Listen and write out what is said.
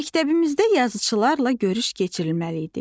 Məktəbimizdə yazıçılarla görüş keçirilməli idi.